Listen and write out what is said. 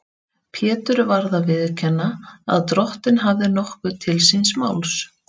Pétur varð að viðurkenna að Drottinn hafði nokkuð til síns máls.